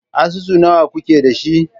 Asusu nawa kuke da shi?